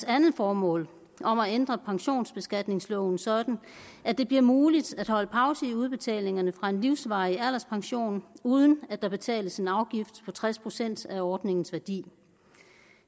andet formål om at ændre pensionsbeskatningsloven sådan at det bliver muligt at holde pause i udbetalingerne fra en livsvarig alderspension uden at der betales en afgift på tres procent af ordningens værdi